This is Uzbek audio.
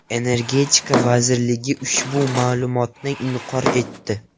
Energetika vazirligi ushbu ma’lumotni inkor etdi.